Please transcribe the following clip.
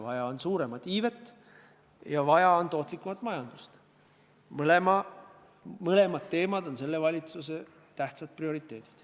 Vaja on suuremat iivet ja vaja on tootlikumat majandust, mõlemad teemad on selle valitsuse jaoks prioriteedid.